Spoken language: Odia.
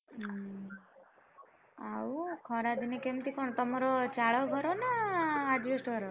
ହୁଁ, ଆଉ ଖରାଦିନେ କେମିତିକଣ ତମର ଚାଳ ଘର ନ asbestos ଘର?